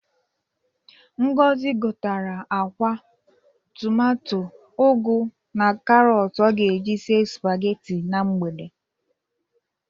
Ngozi gotere akwa, tụmato, ugụ na karọtụ ọ ga-eji sie sụpageti na mgbe.